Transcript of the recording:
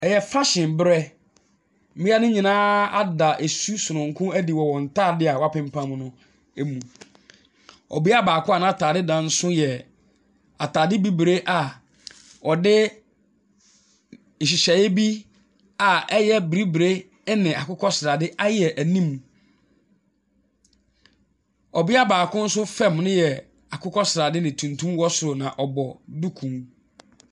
Ɛyɛ fashion berɛ. Mmaa no nyinaa ada su sononko adi wɔn ntaade a wapempam no mu. Ɔbea baako a n'ataade yɛ ataade bibire a wɔde nhyehyɛe bi a ɛyɛ bibire ne akokɔsrade ayɛ anim. Ɔbea baako fam no yɛ akokɔsrade na tuntum wɔ soro na ɔbɔ duku.